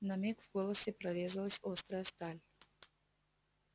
на миг в голосе прорезалась острая сталь